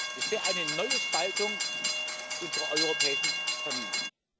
Das wäre eine neue Spaltung unserer europäischen Familie.